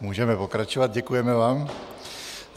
Můžeme pokračovat, děkujeme vám.